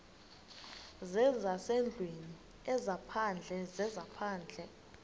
zezasendlwini ezaphandle zezaphandle